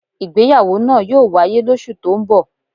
Ìgbéyàwó náà yóò wáyé lósù tó ń bọ̀.